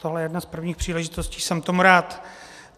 Tohle je jedna z prvních příležitostí, jsem tomu rád.